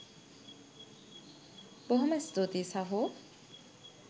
බොහොම ස්තුතියි සහෝ